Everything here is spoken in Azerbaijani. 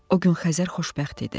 O gün Xəzər xoşbəxt idi.